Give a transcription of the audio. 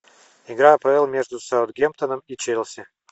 игра апл между саутгемптоном и челси